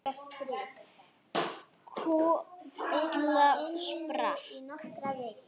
Kolla sprakk.